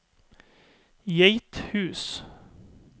Geithus